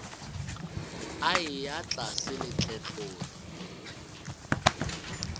a eya tlase le tletlolo